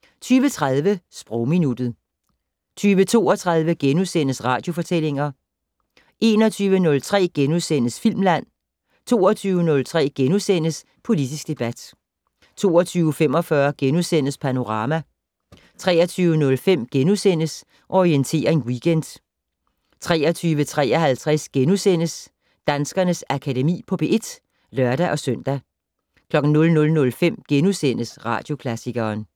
* 20:30: Sprogminuttet 20:32: Radiofortællinger * 21:03: Filmland * 22:03: Politisk debat * 22:45: Panorama * 23:05: Orientering Weekend * 23:53: Danskernes Akademi på P1 *(lør-søn) 00:05: Radioklassikeren *